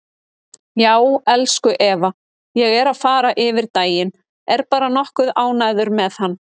Já, elsku Eva, ég er að fara yfir daginn, er bara nokkuð ánægður með hann.